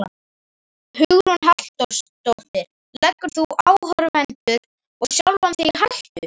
Hugrún Halldórsdóttir: Leggur þú áhorfendur og sjálfan þig í hættu?